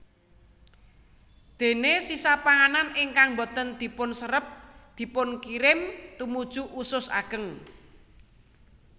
Déné sisa panganan ingkang boten dipunserep dipunkirim tumuju usus ageng